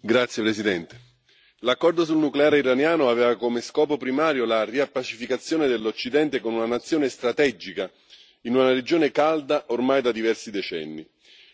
Signora Presidente, onorevoli colleghi, l'accordo sul nucleare iraniano aveva come scopo primario la riappacificazione dell'Occidente con una nazione strategica in una regione calda ormai da diversi decenni.